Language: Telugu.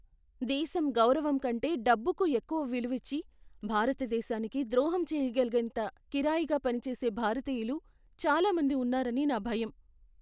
దేశం గౌరవం కంటే డబ్బుకు ఎక్కువ విలువిచ్చి, భారతదేశానికి ద్రోహం చేయగలిగేంత కిరాయిగా పనిచేసే భారతీయులు చాలా మంది ఉన్నారని నా భయం.